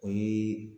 O ye